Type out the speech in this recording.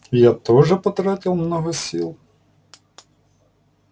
я тоже потратил много сил